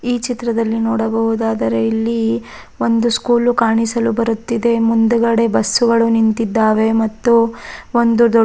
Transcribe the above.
ಈ ಚಿತ್ರದಲ್ಲಿ ನೋಡಬಹುದಾದರೆ ಇಲ್ಲಿ ಒಂದು ಸ್ಕೂಲ್ ಕಾಣಿಸಲು ಬರುತ್ತಿದೆ ಮುಂದುಗಡೆ ಬಸ್ಸು ಗಳು ನಿಂತಿದ್ದಾವೆ ಮತ್ತು ಒಂದು ದೊ --